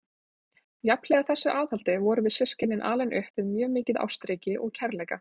Jafnhliða þessu aðhaldi vorum við systkinin alin upp við mjög mikið ástríki og kærleika.